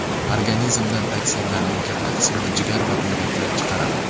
Organizmdan toksinlarning katta qismini jigar va buyraklar chiqaradi.